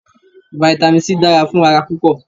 Vitamin C dára fún ara púpọ̀